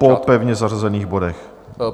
Po pevně zařazených bodech.